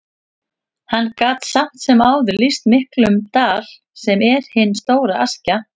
Hann gat samt sem áður lýst miklum dal, sem er hin stóra Askja.